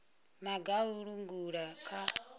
maga a u langula kha